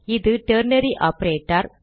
இது ternary operator